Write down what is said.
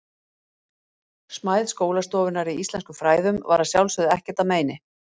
Smæð skólastofunnar í íslenskum fræðum var að sjálfsögðu ekkert að meini.